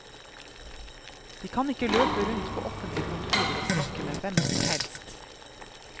De kan ikke løpe rundt på offentlige kontorer og snakke med hvem som helst.